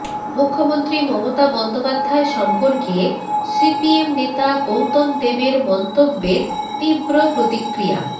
মুখ্যমন্ত্রী মমতা বন্দ্যোপাধ্যায় সম্পর্কে সিপিএম নেতা গৌতম দেবের মন্তব্যের তীব্র প্রতিক্রিয়া